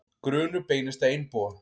Grunur beinist að einbúa